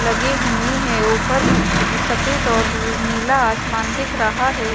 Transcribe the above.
लगे हुए हैं ऊपर सफेद और नीला आसमान दिख रहा है।